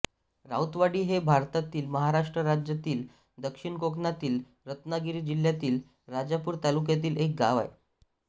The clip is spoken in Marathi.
राऊतवाडी हे भारतातील महाराष्ट्र राज्यातील दक्षिण कोकणातील रत्नागिरी जिल्ह्यातील राजापूर तालुक्यातील एक गाव आहे